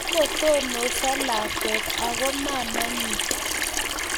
Kagotononso lakwet ago mamaenyi